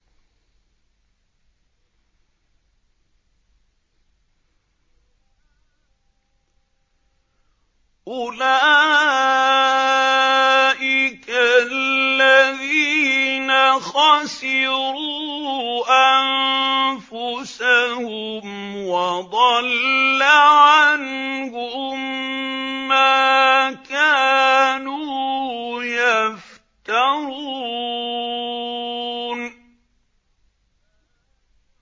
أُولَٰئِكَ الَّذِينَ خَسِرُوا أَنفُسَهُمْ وَضَلَّ عَنْهُم مَّا كَانُوا يَفْتَرُونَ